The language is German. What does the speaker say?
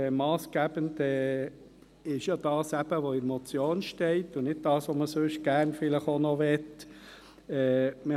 Massgebend ist das, was in der Motion steht, und nicht das, was man vielleicht sonst noch möchte.